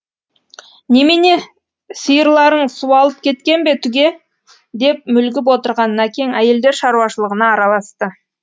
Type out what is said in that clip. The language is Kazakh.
немене сиырларың суалып кеткен бе түге деп мүлгіп отырған накең әйелдер шаруашылығына араласты